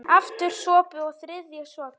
Aftur sopi, og þriðji sopi.